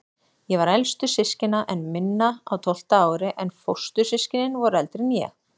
Ég var elstur systkina minna, á tólfta ári, en fóstur- systkinin voru eldri en ég.